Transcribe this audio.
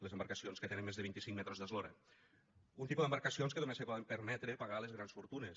les embarcacions que tenen més de vint i cinc metres d’eslora un tipus d’embarcacions que només se poden permetre pagar les grans fortunes